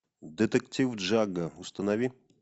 детектив джагга установи